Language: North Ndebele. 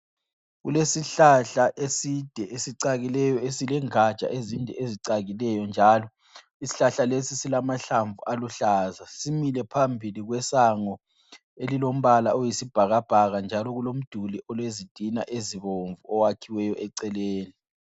Kulesihlahla eside esicakileyo esile ngatsha ezinde ezicakileyo njalo. Ishlahla lesi silamahlamvu aluhlaza. Simile phambili kwesango elilombala oyisibhakabhaka njalo kulomduli olezitina ezibomvu oyakhiweyo eceleni.